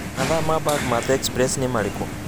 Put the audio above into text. mathaa ma bagmatt express nĩmarĩkũ